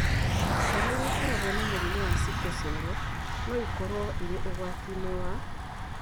Ciana iria ikoragwo na mũrimũ wa sickle cell no ikorũo irĩ ũgwati-inĩ wa